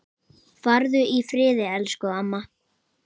Farðu í friði, elsku amma.